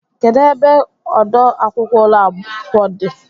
Kedụ ebe ọdọ akwụkwọ ụlọ akwụkwọ a dị?